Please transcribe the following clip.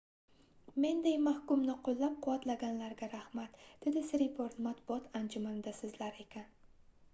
mendek mahkumni qoʻllab-quvvatlaganlarga rahmat dedi siriporn matbuot anjumanida soʻzlar ekan